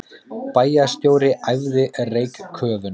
Bæjarstjóri æfði reykköfun